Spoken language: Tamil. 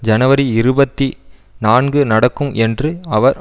ஜனவரி இருபத்தி நான்கு நடக்கும் என்று அவர்